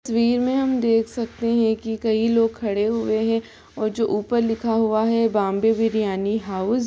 तस्वीर में हम देख सकते है की कई लोग खड़े हुए हैं और जो ऊपर लिखा हुआ है बॉम्बे बिरयानी हाउस ।